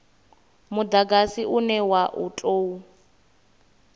mudagasi une wa u tou